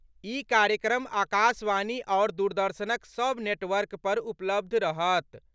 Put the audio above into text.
ई कार्यक्रम आकाशवाणी आओर दूरदर्शनक सभ नेटवर्क पर उपलब्ध रहत।